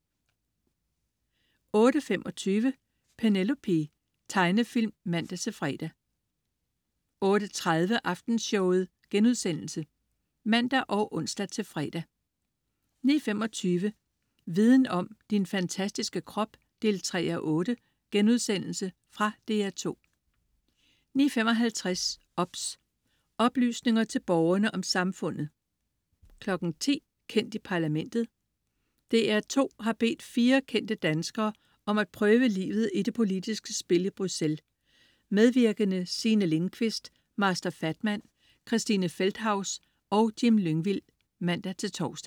08.25 Penelope. Tegnefilm (man-fre) 08.30 Aftenshowet* (man og ons-fre) 09.25 Viden om: Din fantastiske krop 3:8.* Fra DR2 09.55 OBS. Oplysninger til Borgerne om Samfundet 10.00 Kendt i Parlamentet. DR2 har bedt fire kendte danskere om at prøve livet i det politiske spil i Bruxelles. Medvirkende: Signe Lindkvist, Master Fatman, Christine Feldthaus og Jim Lyngvild (man-tors)